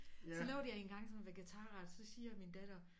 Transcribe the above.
Så lavede jeg engang sådan en vegetarret så siger min datter